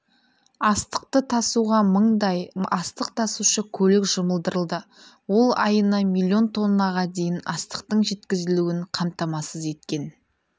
астықты тасуға мыңдай астық тасушы көлік жұмылдырылды ол айына млн тоннаға дейін астықтың жеткізілуін қамтамасыз еткен